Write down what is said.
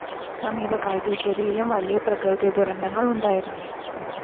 സമീപകാലത്ത് ഇറ്റലിയിലും വലിയ പ്രകൃതിദുരന്തങ്ങള്‍ ഉണ്ടായിരുന്നു